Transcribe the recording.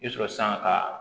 I bɛ sɔrɔ sanga ka